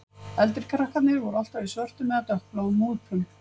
Eldri krakkarnir voru alltaf í svörtum eða dökkbláum úlpum